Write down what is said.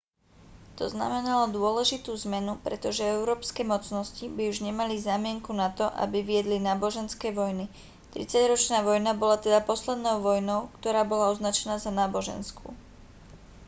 to znamenalo dôležitú zmenu pretože európske mocnosti by už nemali zámienku na to aby viedli náboženské vojny tridsaťročná vojna bola teda poslednou vojnou ktorá bola označená za náboženskú